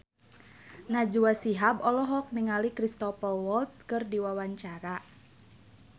Najwa Shihab olohok ningali Cristhoper Waltz keur diwawancara